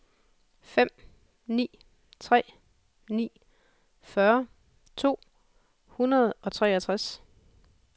fem ni tre ni fyrre to hundrede og treogtres